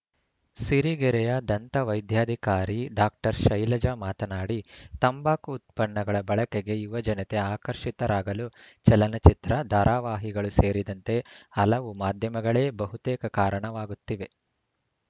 ಸಿರಿಗೆರೆಯ ದಂತ ವೈದ್ಯಾಧಿಕಾರಿ ಡಾಕ್ಟರ್ ಶೈಲಜ ಮಾತನಾಡಿ ತಂಬಾಕು ಉತ್ಪನ್ನಗಳ ಬಳಕೆಗೆ ಯುವಜನತೆ ಆಕರ್ಷಿತರಾಗಲು ಚಲನಚಿತ್ರ ಧಾರಾವಾಹಿಗಳು ಸೇರಿದಂತೆ ಹಲವು ಮಾಧ್ಯಮಗಳೇ ಬಹುತೇಕ ಕಾರಣವಾಗುತ್ತಿವೆ